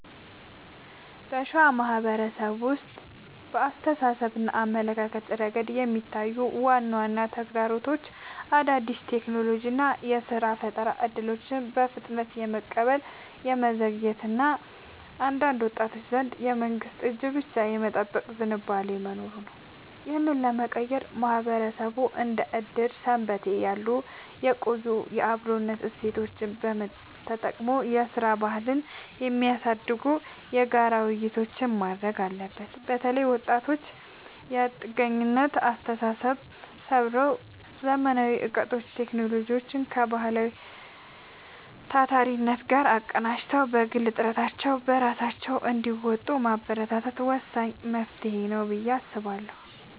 በሸዋ ማህበረሰብ ውስጥ በአስተሳሰብና አመለካከት ረገድ የሚታዩት ዋና ዋና ተግዳሮቶች አዳዲስ የቴክኖሎጂና የሥራ ፈጠራ እድሎችን በፍጥነት የመቀበል መዘግየት እና በአንዳንድ ወጣቶች ዘንድ የመንግስትን እጅ ብቻ የመጠበቅ ዝንባሌ መኖሩ ነው። ይህንን ለመቀየር ማህበረሰቡ እንደ ዕድርና ሰንበቴ ያሉ የቆዩ የአብሮነት እሴቶቹን ተጠቅሞ የሥራ ባህልን የሚያሳድጉ የጋራ ውይይቶችን ማድረግ አለበት። በተለይ ወጣቶች የጥገኝነት አስተሳሰብን ሰብረው: ዘመናዊ እውቀትንና ቴክኖሎጂን ከባህላዊው ታታሪነት ጋር አቀናጅተው በግል ጥረታቸው ራሳቸውን እንዲለውጡ ማበረታታት ወሳኝ መፍትሄ ነው ብዬ አስባለሁ።